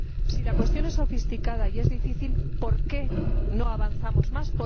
Si la cuestión es sofisticada y es difícil, ¿por qué no avanzamos más?,